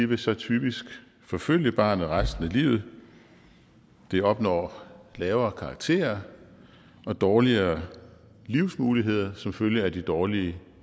vil så typisk forfølge barnet resten af livet de opnår lavere karakterer og dårligere livsmuligheder som følge af de dårlige